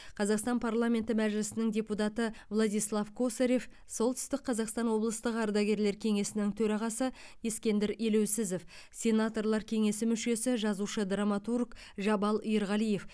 қазақстан парламенті мәжілісінің депутаты владислав косарев солтүстік қазақстан облыстық ардагерлер кеңесінің төрағасы ескендір елеусізов сенаторлар кеңесінің мүшесі жазушы драматург жабал ерғалиев